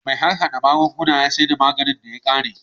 Mai harhada magunguna ya sayar da maganin da ya ƙare